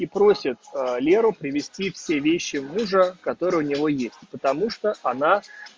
и просит а леру привезти все вещи мужа которые у него есть потому что она